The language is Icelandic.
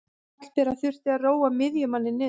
Hallbera þurfti að róa miðjumanninn niður.